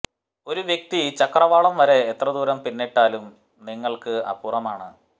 ഒരു വ്യക്തി ചക്രവാളം വരെ എത്ര ദൂരം പിന്നിട്ടാലും നിങ്ങൾക്ക് അപ്പുറമാണ്